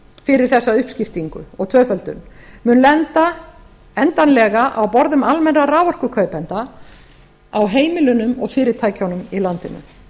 fyrir þessa uppskiptingu og tvöföldun mun lenda endanlega á borðum almennra raforkukaupenda á heimilunum og fyrirtækjunum í landinu